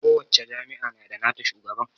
kowacce jami'a na da nata shugaban